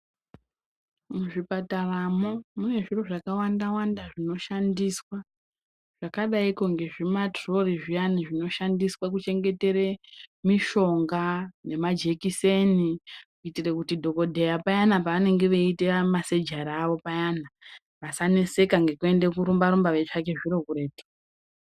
Muzvipataramo mune zviro zvakawanda-wanda zvinoshandiswa zvakadaiko ngezvimaturori zviyani zvinoshandiswa kuchengetere mushonga nemajekiseni. Kuitire kuti dhokodheya payana paanenge eiita masejari avo payana vasaneseka ngekuenda korumba-rumba veitsvake zviro kuretu.